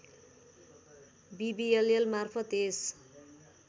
विविएलएल मार्फत् यस